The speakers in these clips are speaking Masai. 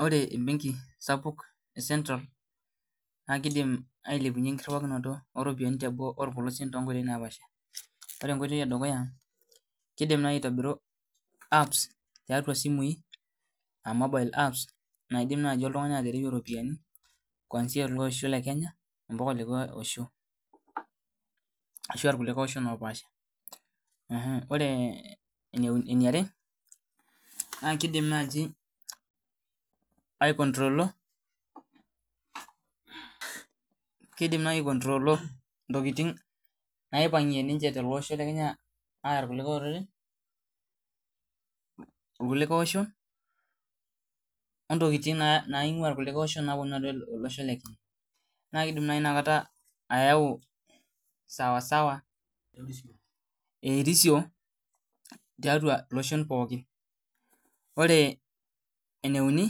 Ore embenki sapuk e central naa kidim ailepunyie enkirriwaroto oropiani teboo orpolosien tonkoitoi napaasha ore enkoitoi edukuya kidim naaji aitobiru apps tiatua isimui uh mobile apps naidim naaji oltung'ani atereyie iropiani kwanzia ele osho le kenya mpaka olikae osho ashua irkulikae oshon opaasha ore eh eneuni eniare naa kidim naaji ae kontrolo kidim naaji ae kontrolo intokiting naipang'ie ninche tele osho le kenya aaya irkulikae oreren irkulikae oshon ontokiting naa naing'ua irkulikae oshon naponu atua ele osho le kenya naa kidim naai inakata ayau sawasawa erisio tiatua iloshon pooki ore eneuni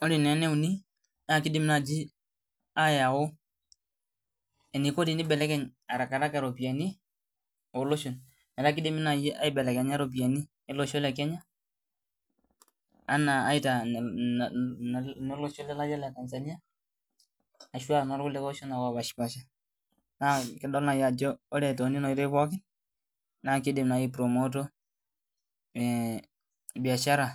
ore naa eneuni naa kidim naa naaji ayau eniko tenibelekeny arakaraka iropiani oloshon metaa kidimi naaji aibelekenya iropiani olosho le kenya anaa aitaa ina na inolosho lelatia le tanzania ashua norkulikae oshon ake opashipasha naa kidol naai ajo ore tonena oitoi pooki naa kidim naai ae promoto biashara.